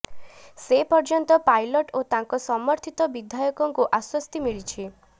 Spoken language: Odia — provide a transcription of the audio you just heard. ସେ ପର୍ଯ୍ୟନ୍ତ ପାଇଲଟ ଓ ତାଙ୍କ ସମର୍ଥିତ ବିଧାୟକଙ୍କୁ ଆଶ୍ୱସ୍ତି ମିଳିଛି